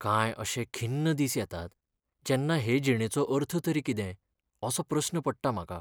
कांय अशे खिन्न दिस येतात जेन्ना हे जिणेचो अर्थ तरी कितें असो प्रस्न पडटा म्हाका.